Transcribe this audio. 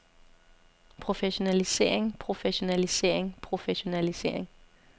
professionalisering professionalisering professionalisering